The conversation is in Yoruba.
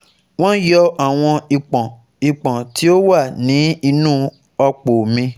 wọ́n yọ́ àwọn ìpọ́n ìpọ́n tí ó wà ní inú ọ̀pò mi